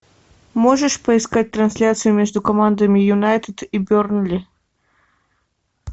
можешь поискать трансляцию между командами юнайтед и бернли